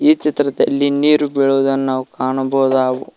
ಈ ಚಿತ್ರದಲ್ಲಿ ನೀರು ಬಿಳುವುದನ್ನು ನಾವು ಕಾಣಬಹುದಾವು--